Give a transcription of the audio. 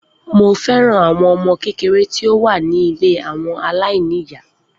Mo fẹ́ràn àwọn ọmọ kékeré tí ó wà ní ilé àwọn aláìní ìyá.